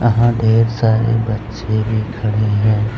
यहां ढ़ेर सारे बच्चे भी खड़े हैं।